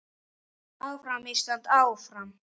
Áfram Ísland, áfram.